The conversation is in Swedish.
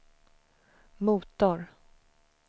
motor